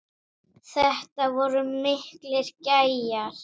Þetta voru miklir gæjar.